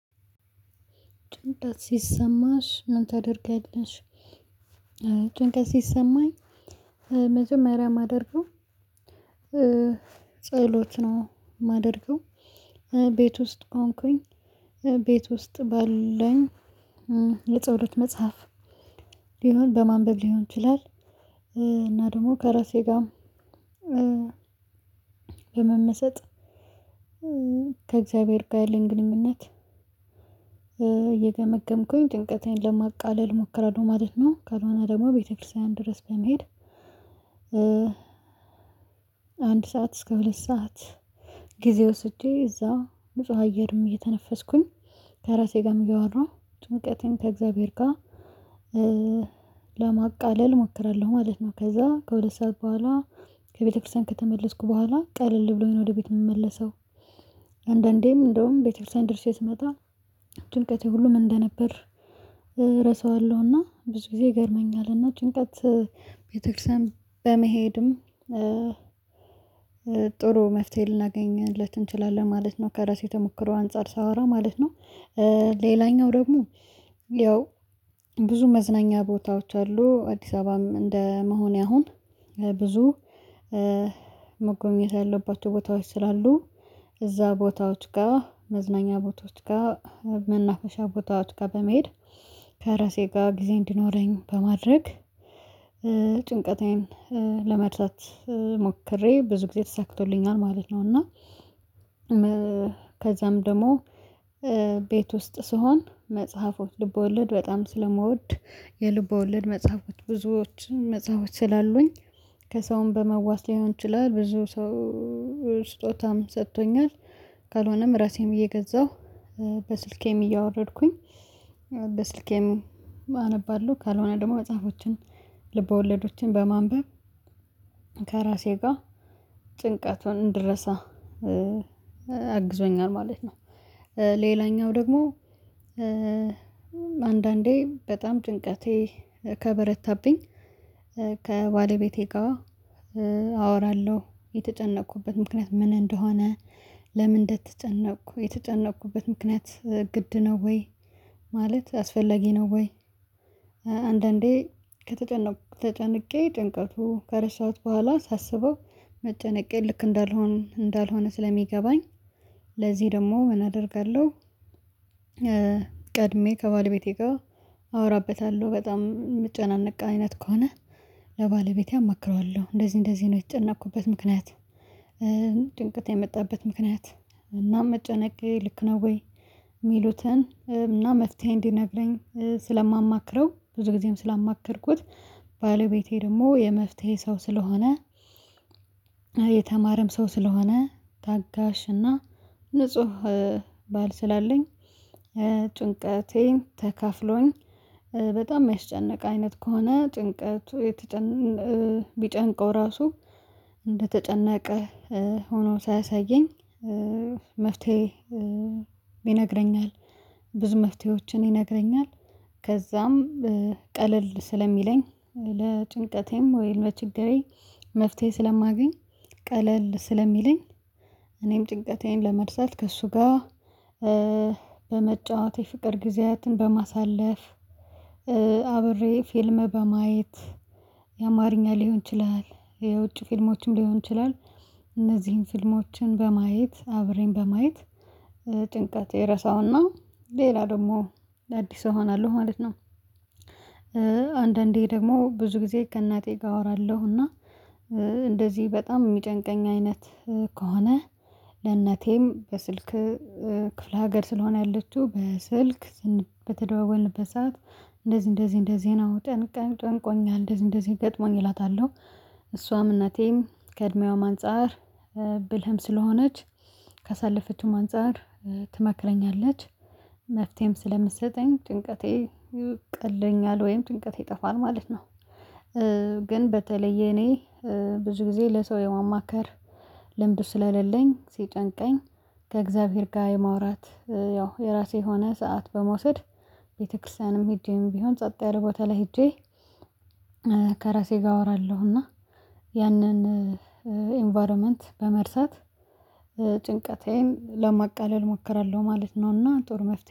ጭንቀት ሲሰማሽ ምን ታደርጊያለሽ? ጭንቀት ሲሰማኝ መጀመሪያ ማደርገው ጸሎት ነው ማደርገው ቤት ውስጥ ሆንኩኝ ቤት ውስጥ ባለኝ የጸሎት መጽሐፍ ሊሆን በማንበብ ሊሆን ይችላል እና ደግሞ ከራሴ ጋር በመመሰጥ ከእግዚአብሔር ጋር ያለን ግንኙነት እየገመገምኩኝ ጭንቀቴን ለማቃለል እሞከራለሁ ማለት ነው። ካልሆነ ደግሞ ቤተክርስቲያን ድረስ በመሄድ አንድ ሰዓት እስከ ሁለት ሰዓት ጊዜ ወስጄ እዛ ንጹህ አየርም እየተነፈስኩኝ ከራሴ ጋርም እያወራሁ ጭንቀቴን ከእግዚአብሔር ጋር ለማቃለል እሞክራለሁ ማለት ነው። ከዛ ከሁለት ሰዓት በኋላ ከቤተክርስቲያን ከተመለስኩ በኋላ ቀለል ብሎኝ ነው ወደ ቤት የምመለሰው። አንዳንዴም እንደውም ቤተ ክርስቲያን ደርሼ ስመጣ ጭንቀቴ ሁሉ ምን እንደነበር እረሳዋለሁና ብዙ ጊዜ ይገርመኛልና ጭንቀት ቤተክርስቲያን በመሄድም ጥሩ መፍትሄ ልናገኝለት እንችላለን ማለት ነው ከራሴ ተሞክሮ አንፃር ሳወራ ማለት ነው። ሌላኛው ደግሞ ያው ብዙ መዝናኛ ቦታዎች አሉ አዲስ አበባም እንደ መሆኔ አሁን ብዙ መጎብኘት ያለባቸው ቦታዎች ስላሉ እዛ ቦታዎች ጋር መዝናኛ ቦታዎች ጋር መናፈሻ ቦታዎች ጋር በመሄድ ከራሴ ጋር ጊዜ እንዲኖረኝ በማድረግ ጭንቀቴን ለመርሳት ሞክሬ ብዙ ጊዜ ተሳክቶልኛል ማለት ነው። እና ከዛም ደግሞ ቤት ውስጥ ስሆን መጽሐፎች ልቦወለድ በጣም ስለምወድ የልብ ወለድ መጽሐፎች ብዙዎችን መጽሐፎች ስላሉኝ ከሰውም በመዋስ ሊሆን ይችላል ብዙ ሰው ስጦታም ሰጥቶኛል ካልሆነም ራሴን ብዬ እገዛሁ በስልኬም እያወረድኩኝ በስልኬም አነባለሁ ካልሆነ ደግሞ መጽሐፎችን ልብ ወለዶችን በማንበብ ከራሴ ጋር ጭንቀቱን እንድረሳ አግዞኛል ማለት ነው። ሌላኛው ደግሞ አንዳንዴ በጣም ጭንቀቴ ከበረታብኝ ከባለቤቴ ጋር አወራለሁ የተጨነቅኩበት ምክንያት ምን እንደሆነ ለምን እንደተጨነቅኩ የተጨነቅኩበት ምክንያት ግድ ነው ወይ ማለት አስፈለጊ ነው? ወይ? አንዳንዴ ከተጨነቁ ተጨንቄ ጭንቀቱ ከረሳሁት በኋላ ሳስበው መጨነቄ ልክ እንዳልሆን እንዳልሆነ ስለሚገባኝ ለዚህ ደግሞ ምን አደርጋለሁ? ቀድሜ ከባለቤቴ ጋር አወራበታለሁ በጣም ምጨናነቅ አይነት ከሆነ ለባለቤቴ አማክረዋለሁ እንደዚህ እንደዚህ ነው የተጨነኩበት ምክንያት። ጭንቅት የመጣበት ምክንያት እና መጨነቄ ልክ ነው ወይ? ሚሉትን እና መፍትሄ እንዲነግረኝ ስለማማክረው ብዙ ጊዜም ስላማከርኩት ባለቤቴ ደግሞ የመፍትሄ ሰው ስለሆነ የተማረም ሰው ስለሆነ ታጋሽና ንጹህ ባል ስላለኝ ጭንቀቴን ተካፍሎኝ በጣም ሚያስጨንቅ አይነት ከሆነ ጭንቀቱ ቢጨንቀው ራሱ እንደተጨነቀ ሆኖ ሳያሳየኝ መፍትሄ ይነግረኛል ብዙ መፍትሄዎችን ይነግረኛል። ከዛም ቀለል ስለሚለኝ ለጭንቀቴም ወይም ለችግሬ መፍትሄ ስለማገኝ ቀለል ስለሚለኝ እኔም ጭንቀቴን ለመርሳት ከእሱ ጋር በመጫወት የፍቅር ጊዜያትን በማሳለፍ አብሬ ፊልም በማየት የአማርኛ ሊሆን ይችላል የውጭ ፊልሞችም ሊሆን ይችላል እነዚህን ፊልሞችን በማየት አብረን በማየት ጭንቀት እረሳውና ሌላ ደግሞ ለአዲስ እሆናለሁ ማለት ነው። አንዳንዴ ደግሞ ብዙ ጊዜ ከእናቴ ጋር አወራለሁ እንደዚህ በጣም ሚጨንቀኝ አይነት ከሆነ ለእነቴም በስልክ ክፍለ ሀገር ስለሆነ ያለችው በስልክ በተደዋወልንበት ሰዓት እንደዚህ እንደዚህ እንደዚህ ነው ጠንቀን ጨንቆኛል እንደዚህ እንደዚህ ደጥሞኝ እላታለሁ እሷም እናቴም ከእድሜዋም አንፃር ብልህም ስለሆነች ካሳለፈችውም አንፃር ትመክረኛለች መፍትሄም ስለምትሰጠኝ ጭንቀቴ ይቅለኛል ወይም ጭንቀቴ ይጠፋል ማለት ነው። ግን በተለየ እኔ ብዙ ጊዜ ለሰው የማማከር ልምዱ ስለሌለኝ ሲጨንቀኝ ከእግዚአብሔር ጋር የማውራት ያው የራሴ የሆነ ሰዓት በመውሰድ ቤተክርስቲያንም ሂጄም ቢሆን ጸጥ ያለ ቦታ ላይ ሄጄ ከራሴ ጋር አወራለሁና ያንን ኢንቫይሮመንት በመርሳት ጭንቀቴዬን ለማቀለል እሞክራለሁ ማለት ነውና። ጥሩ መፍትሄ